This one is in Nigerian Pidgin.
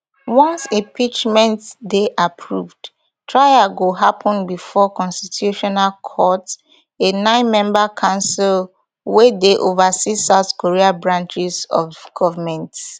once impeachment dey approved trial go happen bifor di constitutional court a ninemember council wey dey oversees south korea branches of government